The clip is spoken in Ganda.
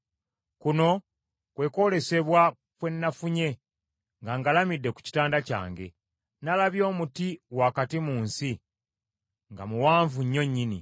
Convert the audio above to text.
Kuno kwe kwolesebwa kwe nafunye nga ngalamidde ku kitanda kyange; nalabye omuti wakati mu nsi, nga muwanvu nnyo nnyini.